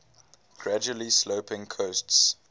gradually sloping coasts